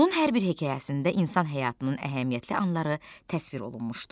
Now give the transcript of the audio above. Onun hər bir hekayəsində insan həyatının əhəmiyyətli anları təsvir olunmuşdu.